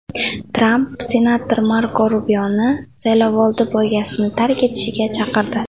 Tramp senator Marko Rubioni saylovoldi poygasini tark etishga chaqirdi.